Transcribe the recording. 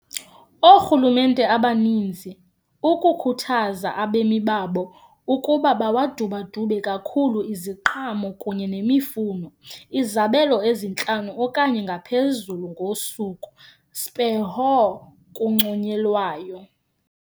Oorhulumente abaninzi ukukhuthaza abemi babo ukuba awadubadube kakhulu iziqhamo kunye nemifuno, izabelo ezintlanu okanye ngaphezulu ngosuku speho kunconyelwayo.